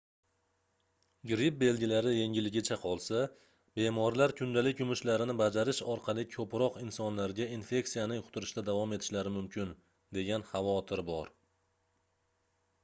gripp belgilari yengilligicha qolsa bemorlar kundalik yumushlarini bajarish orqali koʻproq insonlarga infeksiyani yuqtirishda davom etishlari mumkin degan xavotir bor